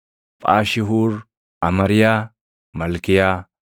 Phaashihuur, Amariyaa, Malkiyaa,